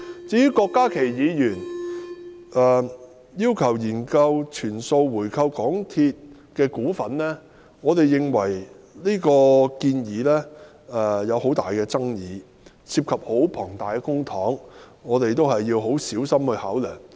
至於郭家麒議員要求"研究全數回購港鐵公司餘下的股份"，我們認為這項建議具很大爭議，涉及龐大公帑，我們要很小心考量。